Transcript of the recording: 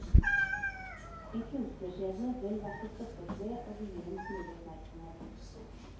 En kunstnerskjebne vel verd å stoppe opp ved og vie en smule oppmerksomhet.